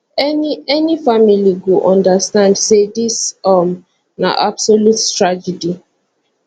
any any family go understand say dis um na absolute tragedy